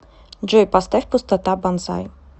джой поставь пустота бонсай